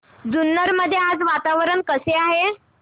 जुन्नर मध्ये आज वातावरण कसे आहे